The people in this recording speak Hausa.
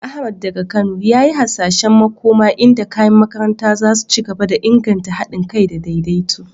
Ahmad, daga Kano, ya yi hasashen makoma inda kayan makaranta za su ci gaba da inganta hadin kai da daidaito.